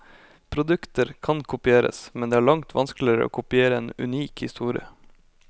Produkter kan kopieres, men det er langt vanskeligere å kopiere en unik historie.